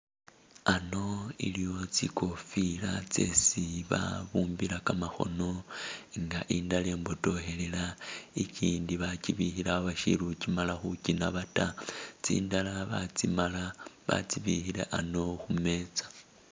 Ano iliwo tsikofila tsesi babumbila kamakhono inga indala ibotokhelela ikindi bachibikhile awo bashili khuchimala khuchinaba ta tsindala batsimala batsibikhile ano khumeetsa.